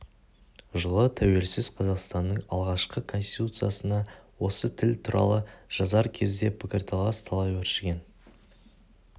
жылы тәуелсіз қазақстанның алғашқы конституциясына осы тіл туралы жазар кезде пікірталас талай өршіген